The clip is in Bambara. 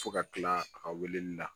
Fo ka kila a ka weleli la